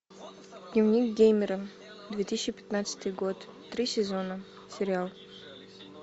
дневник геймера две тысячи пятнадцатый год три сезона сериал